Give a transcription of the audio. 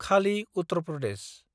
खालि - उत्तर प्रदेश